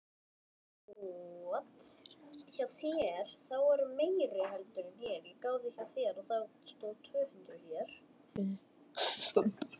Hvar er safn þetta?